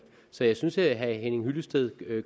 så jeg synes herre henning hyllested